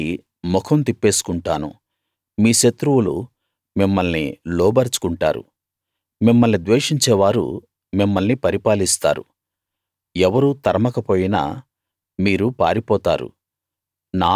మీ నుండి ముఖం తిప్పేసుకుంటాను మీ శత్రువులు మిమ్మల్ని లోబరచుకుంటారు మిమ్మల్ని ద్వేషించేవారు మిమ్మల్ని పరిపాలిస్తారు ఎవరూ తరమకపోయినా మీరు పారిపోతారు